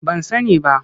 Ban sani ba.